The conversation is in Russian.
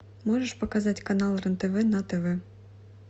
можешь показать канал рен тв на тв